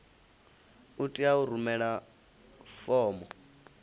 u tea u rumela fomo